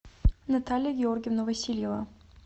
наталья георгиевна васильева